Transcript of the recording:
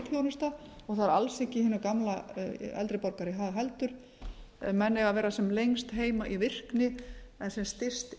þjónusta og það er ekki hinum gamla eldri borgara í hag heldur ef menn eiga að vera sem lengst heima í virkni en sem styst